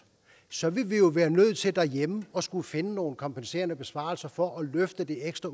så ville vi jo være nødt til derhjemme at skulle finde nogle kompenserende besparelser for at løfte det ekstra